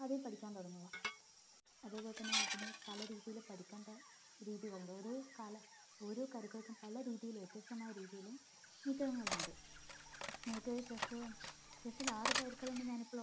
അതെ പഠിക്കാൻ തുടങ്ങുക അതേപോലെ തന്നെ അതിനെ പല രീതിയിലും പഠിക്കേണ്ട രീതികളുണ്ട് ഓരോ കാല ഓരോ കരുക്കൾക്കും പല രീതിയിലും വ്യത്യസ്തമായ രീതിയിലും നീക്കങ്ങളുണ്ട് നിനക്ക് chess chess ൽ ആറു കരുക്കൾ ഉണ്ടെന്ന്